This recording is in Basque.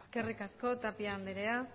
eskerrik asko tapia andrea